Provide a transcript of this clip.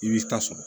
I b'i ta sɔrɔ